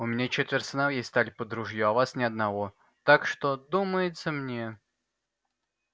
у меня четверо сыновей стали под ружье а у вас ни одного так что думается мне